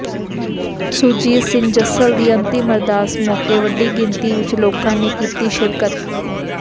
ਸੁਰਜੀਤ ਸਿੰਘ ਜੱਸਲ ਦੀ ਅੰਤਿਮ ਅਰਦਾਸ ਮੌਕੇ ਵੱਡੀ ਗਿਣਤੀ ਵਿਚ ਲੋਕਾਂ ਨੇ ਕੀਤੀ ਸ਼ਿਰਕਤ